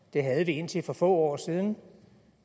det havde vi indtil for få år siden